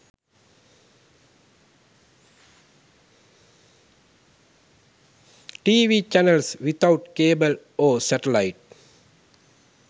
tv channels without cable or satellite